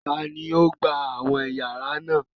Taàní ó gbà àwọn yàrá náà?